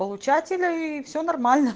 получателя и всё нормально